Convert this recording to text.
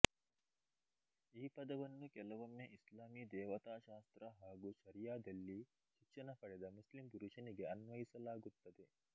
ಈ ಪದವನ್ನು ಕೆಲವೊಮ್ಮೆ ಇಸ್ಲಾಮೀ ದೇವತಾಶಾಸ್ತ್ರ ಹಾಗೂ ಶರಿಯಾದಲ್ಲಿ ಶಿಕ್ಷಣ ಪಡೆದ ಮುಸ್ಲಿಮ್ ಪುರುಷನಿಗೆ ಅನ್ವಯಿಸಲಾಗುತ್ತದೆ